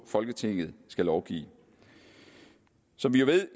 folketinget skal lovgive som vi ved